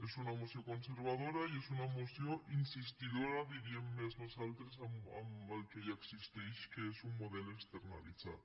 és una moció conservadora i és una moció insistidora diríem més nosaltres amb el que ja existeix que és un model externalitzat